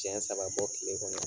ɲɛ saba bɔ tile kɔnɔ.